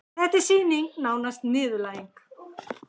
Þetta var sýning, nánast niðurlæging.